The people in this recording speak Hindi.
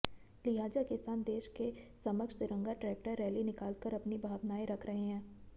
लिहाजा किसान देश के समक्ष तिरंगा ट्रेक्टर रैली निकालकर अपनी भावनाएं रख रहे हैं